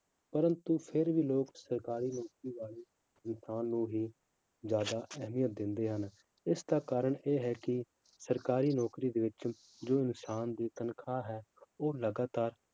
ਪਰੰਤੂ ਫਿਰ ਵੀ ਲੋਕ ਸਰਕਾਰੀ ਨੌਕਰੀ ਵਾਲੇ ਇਨਸਾਨ ਨੂੰ ਹੀ ਜ਼ਿਆਦਾ ਅਹਿਮੀਅਤ ਦਿੰਦੇ ਹਨ, ਇਸਦਾ ਕਾਰਨ ਇਹ ਹੈ ਕਿ ਸਰਕਾਰੀ ਨੌਕਰੀ ਦੇ ਵਿੱਚ ਜੋ ਇਨਸਾਨ ਦੀ ਤਨਖਾਹ ਹੈ ਉਹ ਲਗਾਤਾਰ